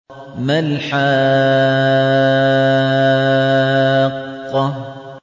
مَا الْحَاقَّةُ